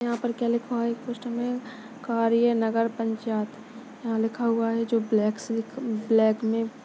यहाँ पर क्या लिखा हुआ है एक पोस्टर में कार्य नगर पंचायत यहाँ लिखा हुआ है जो ब्लैक से ब्लैक मे--